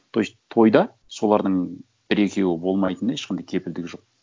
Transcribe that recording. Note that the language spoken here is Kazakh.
то есть тойда солардың бір екеуі болмайтынына ешқандай кепілдік жоқ